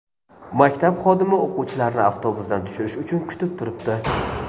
Maktab xodimi o‘quvchilarni avtobusdan tushirish uchun kutib turibdi.